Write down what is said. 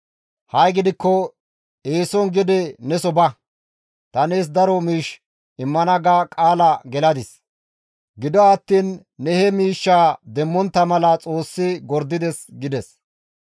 Ha7i gidikko eeson gede neso ba! Ta nees daro miish immana ga qaala geladis; gido attiin ne he miishshaa demmontta mala Xoossi gordides» gides.